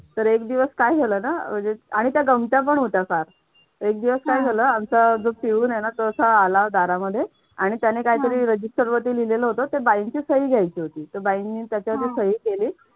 तर एक दिवस काय झालं ना आणि त्यात गमत्या पण होत्या फार एक दिवस काय झालं? आमचा जो पिऊन आहे ना तो असा आला दारामध्ये आणि त्याने काहीतरी register वर ते लिहिलेलं होतं आणि बाई यांची सही घ्यायची होती तर बाईने त्याच्या वरती सही केली.